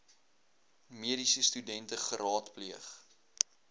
mediese studente geraadpleeg